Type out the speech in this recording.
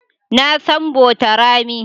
Na san Botorami.